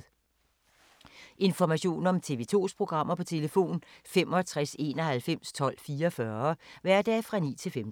Information om TV 2's programmer: 65 91 12 44, hverdage 9-15.